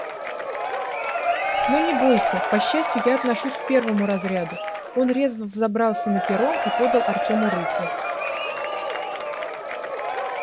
но не бойся по счастью я отношусь к первому разряду он резво взобрался на перрон и подал артёму руку